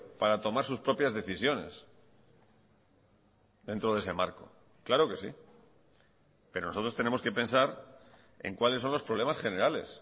para tomar sus propias decisiones dentro de ese marco claro que sí pero nosotros tenemos que pensar en cuáles son los problemas generales